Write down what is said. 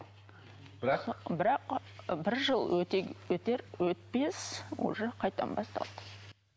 бірақ бірақ бір жыл өтер өтпес уже қайтадан басталды